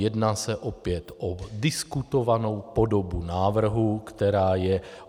Jedná se opět o diskutovanou podobu návrhu, která je.